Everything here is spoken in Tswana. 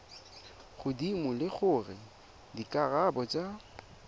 godimo le gore dikarabo tsa